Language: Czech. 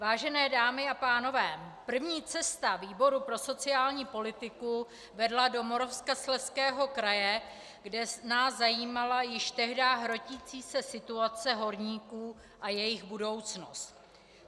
Vážené dámy a pánové, první cesta výboru pro sociální politiku vedla do Moravskoslezského kraje, kde nás zajímala již tehdy hrotící se situace horníků a jejich budoucnost.